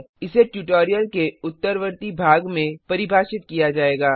इसे ट्यूटोरियल के उत्तरवर्ती भाग में परिभाषित किया जाएगा